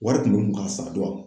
Wari kun bɛ n kun ka sara